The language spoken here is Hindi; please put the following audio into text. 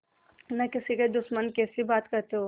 न किसी के दुश्मन कैसी बात कहते हो